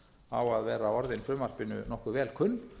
á að vera orðin frumvarpinu nokkuð vel kunn